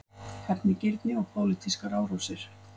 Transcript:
Hefnigirni og pólitískar árásir